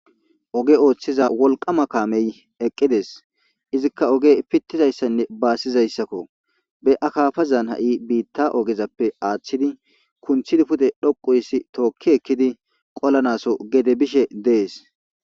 Oge othiza wolqama kamey eqides izikka oge pitizaysanne basizaysakko be akafazan ha'i bita ogezappe athidi kunthidi pude dhoqu histi tokki ekkidi qolanaso gede bishe des